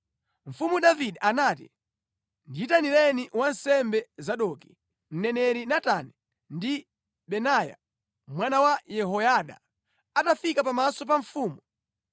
Mfumu Davide anati, “Ndiyitanireni wansembe Zadoki, mneneri Natani ndi Benaya mwana wa Yehoyada.” Atafika pamaso pa mfumu,